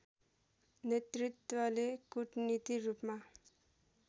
नेतृत्वले कूटनीति रूपमा